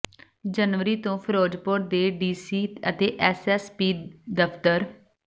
ਜਨਵਰੀ ਤੋ ਫਿਰੋਜਪੁਰ ਦੇ D C ਤੇ ਐਸ ਐਸ ਪੀ ਦਫਤਰ